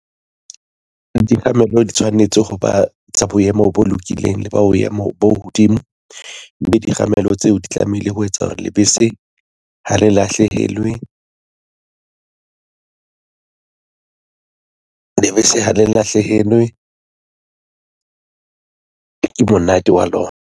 Dikgamelo di tshwanetse ho ba tsa boemo bo lokileng le boemo bo hodimo, mme dikgamelo tseo di tlamehile ho etsa hore lebese ha le lahlehelwe, ke monate wa lona.